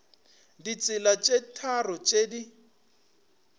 ditsela tše tharo tše di